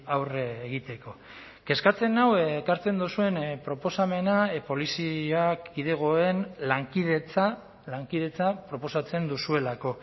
aurre egiteko kezkatzen nau ekartzen duzuen proposamena polizia kidegoen lankidetza lankidetza proposatzen duzuelako